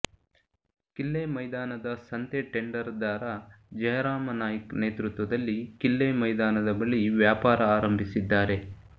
ಕಿಲ್ಲೆ ಮೈದಾನದ ಸಂತೆ ಟೆಂಡರ್ ದಾರ ಜಯರಾಮ ನಾಯ್ಕ್ ನೇತೃತ್ವದಲ್ಲಿ ಕಿಲ್ಲೆ ಮೈದಾನದ ಬಳಿ ವ್ಯಾಪಾರ ಆರಂಭಿಸಿದ್ದಾರೆ